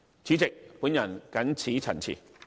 主席，我謹此陳辭。